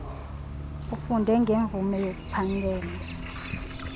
ufunde ngemvume yokuphangela